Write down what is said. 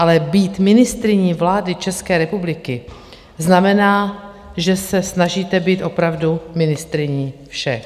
Ale být ministryní vlády České republiky znamená, že se snažíte být opravdu ministryní všech.